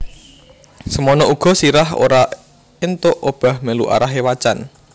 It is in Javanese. Semono uga sirah ora entuk obah melu arahe wacan